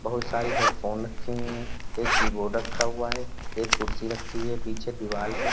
बहुत सारी हेडफ़ोन रखी हुई हैं। एक कीबोर्ड रखा हुआ है। एक कुर्सी रखी हुई है। पीछे दीवाल है।